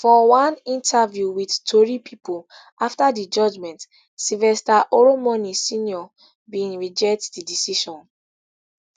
for one interview wit tori pipo afta di judgment sylvester oromoni snr bin reject di decision